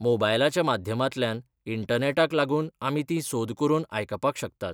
मोबायलाच्या माध्यमांतल्यान, इण्टनॅटाक लागून आमी तीं सोद करून आयकपाक शकतात.